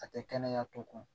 A tɛ kɛnɛya tɔ kun